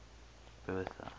bertha